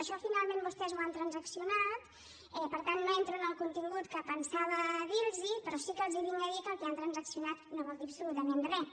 això finalment vostès ho han transaccionat per tant no entro en el contingut que pensava dir los però sí que els vinc a dir que el que han transaccionat no vol dir absolutament res